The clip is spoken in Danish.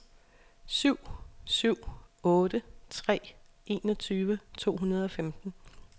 syv syv otte tre enogtyve to hundrede og femten